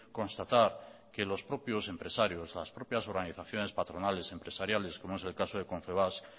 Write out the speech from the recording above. constatar que los propios empresarios las propias organizaciones patronales empresariales como es el caso de confebask